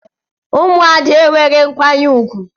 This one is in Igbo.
Ụmụ Ada enweghị nkwanye ùgwù.